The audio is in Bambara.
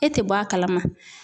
E tɛ bɔ a kalama.